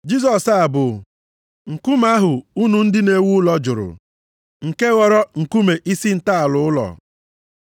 Jisọs a bụ “ ‘nkume ahụ unu ndị na-ewu ụlọ jụrụ, nke ghọrọ nkume isi ntọala ụlọ.’ + 4:11 \+xt Abụ 118:22\+xt*